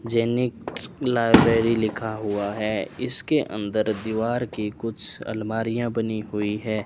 जैनिक स लाइब्रेरी लिखा हुआ है इसके अंदर दीवार की कुछ अलमारियां बनी हुई है।